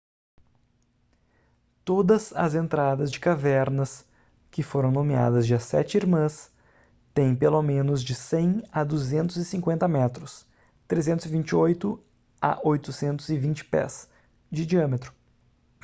todas as entradas de cavernas que foram nomeadas de as sete irmãs têm pelo menos de 100 a 250 metros 328 a 820 pés de diâmetro